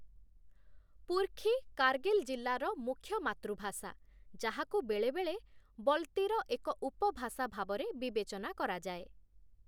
ପୁର୍ଖୀ' କାର୍ଗିଲ ଜିଲ୍ଲାର ମୁଖ୍ୟ ମାତୃଭାଷା, ଯାହାକୁ ବେଳେବେଳେ 'ବଲତି'ର ଏକ ଉପଭାଷା ଭାବରେ ବିବେଚନା କରାଯାଏ ।